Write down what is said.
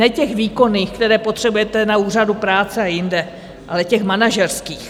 Ne těch výkonných, které potřebujete na úřadu práce a jinde, ale těch manažerských.